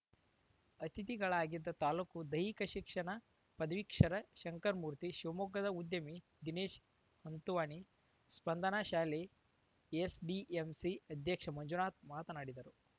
ಅತಿಥಿಗಳಾಗಿದ್ದ ತಾಲೂಕು ದೈಹಿಕ ಶಿಕ್ಷಣ ಪದಿವೀಕ್ಷರ ಶಂಕರಮೂರ್ತಿ ಶಿವಮೊಗ್ಗದ ಉದ್ಯಮಿ ದಿನೇಶ್‌ ಹಂತುವಾನಿ ಸ್ಪಂದನ ಶಾಲೆ ಎಸ್‌ಡಿಎಂಸಿ ಅಧ್ಯಕ್ಷ ಮಂಜುನಾಥ್‌ ಮಾತನಾಡಿದರು